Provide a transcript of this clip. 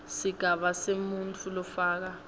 sigaba semuntfu lofaka